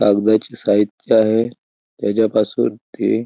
कागदाचे साहित्य आहे त्याच्यापासून ते--